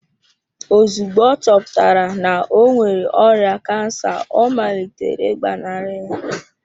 Ozugbo ọ chọpụtara na ọ nwere ọrịa kansa ọ malitere ịgbanarị ya.